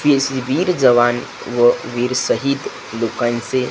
वीर जवान व वीर शहीद लोकांचे --